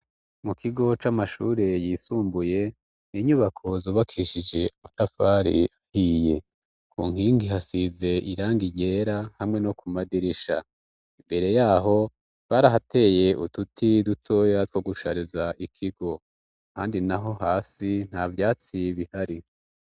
Mu kigo c'amashure yisumbuye, ni inyubako zubakishije amatafari ahiye. Ku nkingi hasize irangi ryera hamwe no ku madirisha. Imbere yaho barahateye uduti dutoya two gushariza ikigo. kandi naho hasi nta vyatsi bihari.